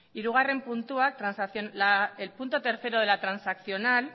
el punto tres de la transaccional